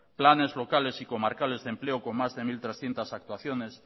planes locales y comarcales de empleo con más de mil trescientos actuaciones